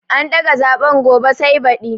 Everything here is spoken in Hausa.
An daga zaɓen gobe sai baɗi